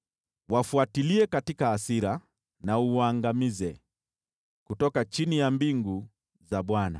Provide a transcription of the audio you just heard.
Wafuatilie katika hasira na uwaangamize kutoka chini ya mbingu za Bwana .